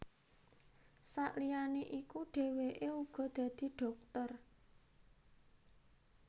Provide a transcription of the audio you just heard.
Sakliyané iku dhèwèké uga dadi dhokter